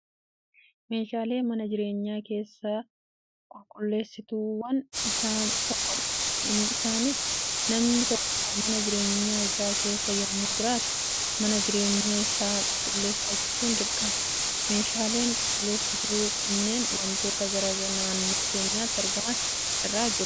Meeshaalee mana jireenyaa keessaa, qulqulleessituuwwan isaan tokkodha. Isaanis namni tokko mana jireenyaa isaa keessa yemmuu jiraatu, mana jireenyaa isaa qulqulleeffachuun dirqama. Meeshaaleen qulqulleessituu kunneen waantota garaagaraa naannoo keenyatti argaman irraa hojjetamu.